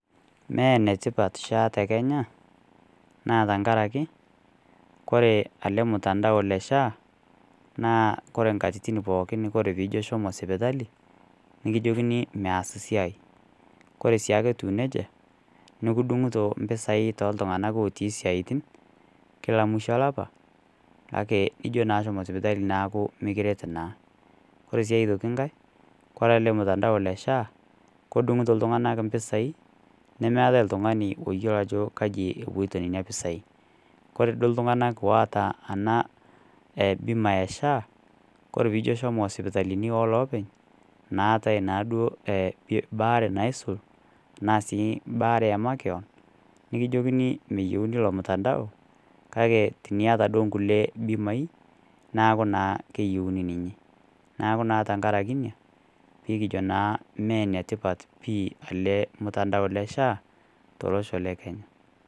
Mee ene tipat SHA te Kenya naa tenkaraki, ore ele lmutandao le SHA naa inkatitin pookin ore pee ijo shomo sipitali, nikijokini meaas siai. Kore sii ake etiu neija nikidung'ito impesai too l'tungana otii isiaitin, kila musho olapa, kake ijo naa shomo sipitali neaku mekiret naa. Ore sii aitoki ng'ai, kore ele lmutandao le SHA, kedung'ito iltung'ana impisai, nemeatai oltung'ani oyiolo ajo kaji epuoita nena pisai. Kore duo iltung'ana oata ena ebima e SHA, kore pee ijo shomo esipitalini o loopeny, naatai naa duo baare naisul, baare e makewan, nekijokini meyouni ilo lmutandao, kake teniata duo kulie bimai, neaku naa keyouni ninye. Neaku naa tenkaraki inia, pee kijo naa Mee ene tipat pii ele mutandao le SHA, tolosho le Kenya.